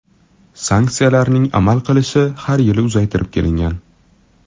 Sanksiyalarning amal qilishi har yili uzaytirib kelingan.